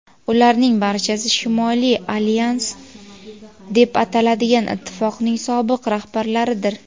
ularning barchasi Shimoliy alyans deb ataladigan ittifoqning sobiq rahbarlaridir.